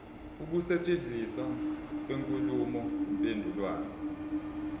ukusetshenziswa kwenkulumo mpendulwano